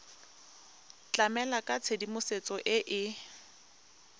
tlamela ka tshedimosetso e e